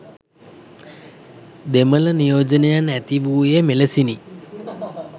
දෙමළ නියෝජනයන් ඇතිවූයේ මෙලෙසිනි